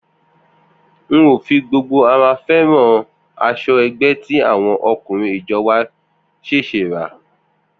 N ò fi gbogbo ara fé̩ràn as̩o̩ ẹgbẹ́ tí àwo̩n ako̩rin ijo̩ wa s̩è̩s̩è̩ rà